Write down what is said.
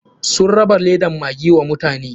Sun raba ledan maggi wa mutane.